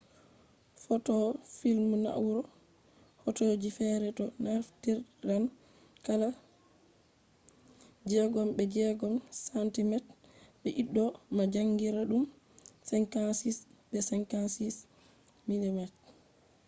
footoo film na'ura hoto ji fere do naftiran kala 6 be 6 cm de'iddo ma jankiraadum 56 be 56 mm